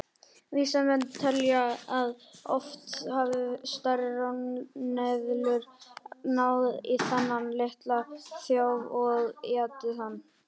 Vísindamenn telja að oft hafi stærri ráneðlur náð í þennan litla þjóf og étið hann.